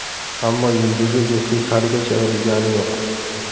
Ammo yulduzli juftlik haligacha ayrilgani yo‘q.